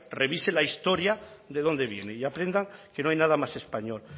revise la historia de dónde viene y aprendan que no hay nada más español